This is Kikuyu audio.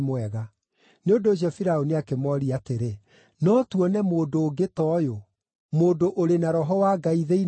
Nĩ ũndũ ũcio Firaũni akĩmooria atĩrĩ, “No tuone mũndũ ũngĩ ta ũyũ, mũndũ ũrĩ na roho wa Ngai thĩinĩ wake?”